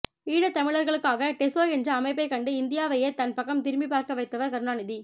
ஈழத் தமிழர்களுக்காக டெசோ என்ற அமைப்பைக் கண்டு இந்தியாவையே தன் பக்கம் திரும்பிப் பார்க்க வைத்தவர் கருணாநிதி